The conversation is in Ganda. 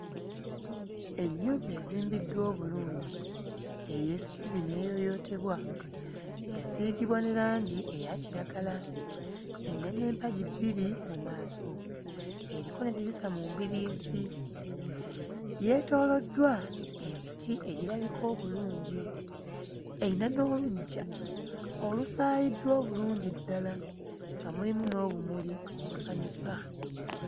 Ennyumba ezimbiddwa obulungi ey'essubi n'eyooyootebwa, yasiigibwa ne langi eya kiragala. Erina n'empagi bbiri mu maaso. Eriko n'eddirisa mu mbiriizi. Yeetooloddwa emiti egirabika obulungi. Eyina n'oluggya olusaayiddwa obulungi ddala nga mulimu n'obumuli obusanyusa.